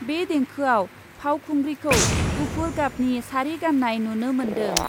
बे देंखोआव फावखुंग्रिखौ गुफुर गाबनि सारि गान्नाय नुनो मोन्दों ।